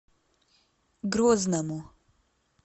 грозному